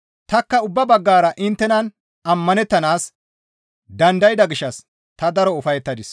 Tanikka ubba baggara inttenan ammanettanaas dandayda gishshas ta daro ufayettadis.